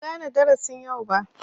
Ban gane darasin yau ba.